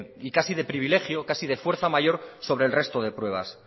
y casi de privilegio casi de fuerza mayor sobre el resto de pruebas